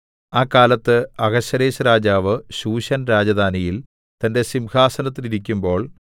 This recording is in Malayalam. ആ കാലത്ത് അഹശ്വേരോശ്‌ രാജാവ് ശൂശൻ രാജധാനിയിൽ തന്റെ സിംഹാസനത്തിൽ ഇരിക്കുമ്പോൾ